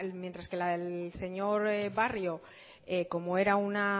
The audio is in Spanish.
mientras que el señor barrio como era una